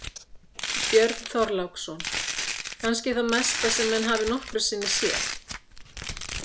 Björn Þorláksson: Kannski það mesta sem að menn hafi nokkru sinni séð?